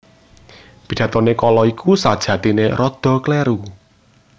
Pidatoné kala iku sajatiné rada kléru